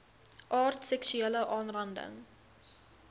aard seksuele aanranding